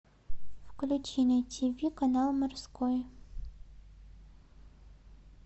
включи на тв канал морской